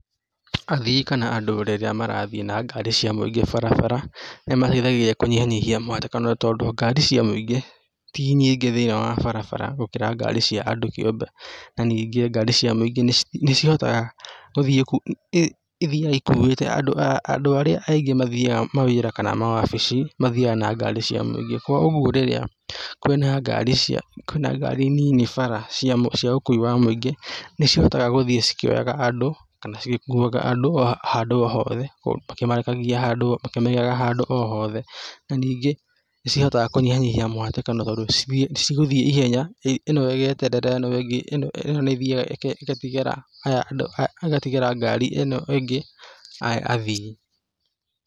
Athii kana andũ rĩrĩa marathiĩ na ngari cia mũingĩ barabara, nĩ mateithagia kũnyihanyihia mũhatĩkano tondũ ngari cia mũingĩ ti nyingĩ thĩ-inĩ wa barabara gũkĩra ngari cia andũ kĩũmbe, na ningĩ nĩcihotaga gũthiĩ ithiaga ikuĩte andũ arĩa aingĩ mathiaga mawĩra kana mawabici mathiaga na ngari cia mũingĩ, koguo rĩrĩa kwĩna ngari cia ngari nini bara cia ũkui wa mũingĩ, nĩ cihotaga gũthiĩ cikĩoyaga andũ kana cigĩkuaga andũ o handũ o hothe, makĩmarekagia handũ, makĩmaigaga handũ o hothe, Na ningĩ, nĩcihotaga kũnyihanyihia mũhatĩkano tondũ cigũthiĩ ihenya, ĩno ĩgeterera ĩno ĩngĩ, ĩno nĩ ĩthiĩaga ĩgatigĩra aya andũ, agatigĩra ngari ĩno ĩngĩ athii